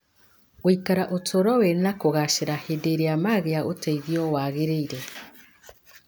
gũikara ũtũũro wĩna kũgaacĩra hĩndĩ ĩrĩa magĩa ũteithio waagĩrĩire.